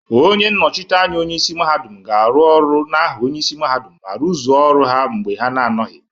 Onye nnochite anya onye isi mahadum ga-aru Oru n'aha onye isi mahadum ma rụzuo ọrụ ha mgbe ha na-anọghị.